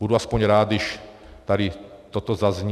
Budu aspoň rád, když tady toto zazní.